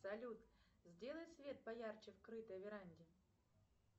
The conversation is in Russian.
салют сделай свет поярче в крытой веранде